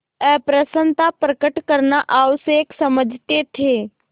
अप्रसन्नता प्रकट करना आवश्यक समझते थे